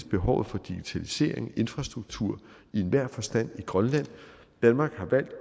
behovet for digitalisering og infrastruktur i enhver forstand i grønland danmark har valgt